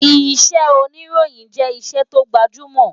Iṣẹ́ òníròyìn jẹ́ iṣẹ́ tó gbajúmọ̀